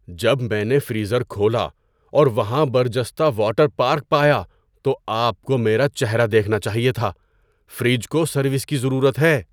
جب میں نے فریزر کھولا اور وہاں برجستہ واٹر پارک پایا تو آپ کو میرا چہرہ دیکھنا چاہیے تھا۔ فریج کو سروس کی ضرورت ہے۔